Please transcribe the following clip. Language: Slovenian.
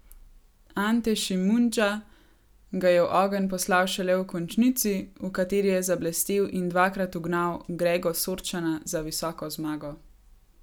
Ante Šimundža ga je v ogenj poslal šele v končnici, v kateri je zablestel in dvakrat ugnal Grego Sorčana za visoko zmago.